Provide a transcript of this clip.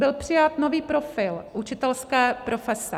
Byl přijat nový profil učitelské profese.